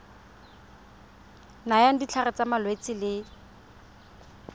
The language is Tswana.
nayang ditlhare tsa malwetse le